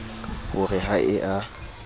ho re ha e a